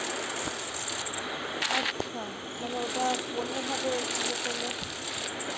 আচ্ছা মানে ওটা অন্য ভাবে ইয়ে করলে, খুব